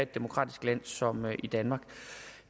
demokratisk land som i danmark